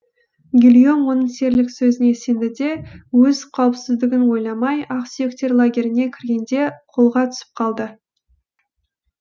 гильом оның серілік сөзіне сенді де өз қауіпсіздігін ойламай ақсүйектер лагеріне кіргенде қолға түсіп қалды